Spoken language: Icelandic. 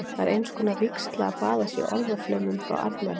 Það er einskonar vígsla að baða sig í orðaflaumnum frá arnari.